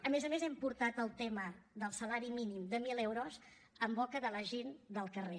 a més a més hem portat el tema del salari mínim de mil euros en boca de la gent del carrer